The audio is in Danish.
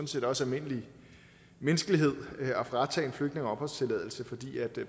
set også almindelig menneskelighed at fratage en flygtning opholdstilladelsen fordi